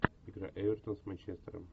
игра эвертон с манчестером